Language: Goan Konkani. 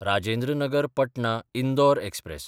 राजेंद्र नगर पटना–इंदोर एक्सप्रॅस